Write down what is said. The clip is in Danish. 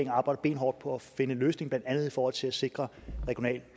arbejder benhårdt på at finde en løsning blandt andet i forhold til at sikre regionalt